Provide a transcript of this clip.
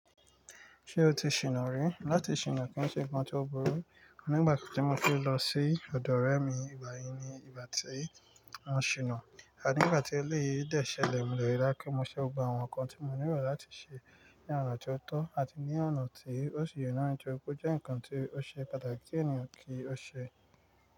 Ṣé o ti ṣìná n rí? Láti ṣìná kí ó ṣe nǹkan tí ó burú. Nígbà tí mo ti lọ sí ọ̀dọ̀ ọ̀rẹ́ mi, ìgbà yìí ni ìgbà tí mo ṣìná. Ànígbà tí eléyìí dẹ́ṣẹ́ lẹ̀, mo lẹ̀ rí lákí mó ṣẹ́ o gbà àwọn nǹkan tí mo nílò láti ṣe ní ọ̀nà tí ó tọ́. Àti ní ọ̀nà tí ó sì yọ̀nú ju, kó jẹ́ nǹkan tí ó ṣe pàtàkì tí ènìyàn kí ó ṣe.